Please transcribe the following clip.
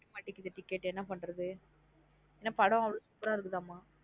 கிடைக்க மாட்டிக்குது ticket என்ன பண்றது. என்ன படம் அவ்ளோ super அஹ இருக்குதாமா.